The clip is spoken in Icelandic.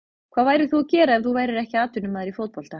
Hvað værir þú að gera ef þú værir ekki atvinnumaður í fótbolta?